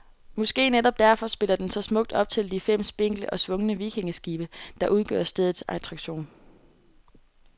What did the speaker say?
Måske netop derfor spiller den så smukt op til de fem spinkle og svungne vikingeskibe, der udgør stedets attraktion.